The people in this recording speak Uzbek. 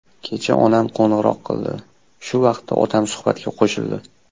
Kecha onam qo‘ng‘iroq qildi, shu vaqtda otam suhbatga qo‘shildi.